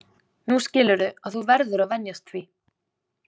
Nú skilurðu að þú verður að venjast því.